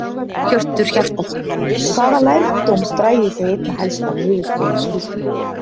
Hjörtur Hjartarson: Hvaða lærdóm dragi þið einna helst af niðurstöðu skýrslunnar?